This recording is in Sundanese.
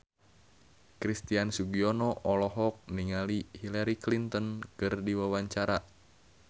Christian Sugiono olohok ningali Hillary Clinton keur diwawancara